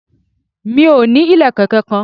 Mi ò ní ìlẹ̀kẹ̀ kankan.